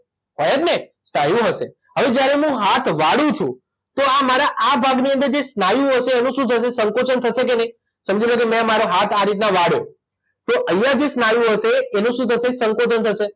હોય જ ને સ્નાયુઓ હશે હવે જ્યારે હું હાથ વાળું છું તો આ મારા આ ભાગની અંદર જે સ્નાયુઓ હશે એનું શું થશે સંકોચન થશે કે નહિ સમજી લો કે મેં મારો હાથ આ રીતના વાળ્યો તો અહીંયા જે સ્નાયુઓ હશે એનું શું થશે સંકોચન થશે